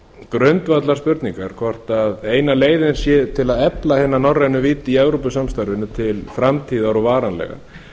grundvallarspurningar hvort eina leiðin sé til að efla hina norrænu vídd í evrópusamstarfinu til framtíðar og varanlega